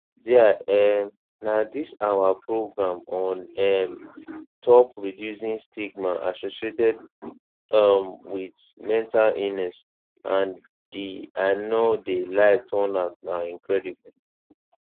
dia um na dis ah program on um top reducing stigma associated um wit mental illness and di i no de lie turnout na incredible